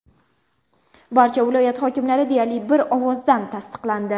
Barcha viloyat hokimlari deyarli bir ovozdan tasdiqlandi .